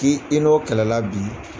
K'i i n'o kɛlɛla bi !